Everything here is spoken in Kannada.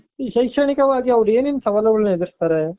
ಈ ಶೈಕ್ಷಣಿಕವಾಗಿ ಅವ್ರು ಏನೇನ್ ಸವಾಲುಗಳನ್ನ ಎದ್ರುಸ್ತಾರೆ .